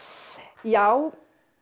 já